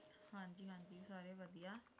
ਹਾਂਜੀ ਹਾਂਜੀ ਸਾਰੇ ਵਧੀਆ।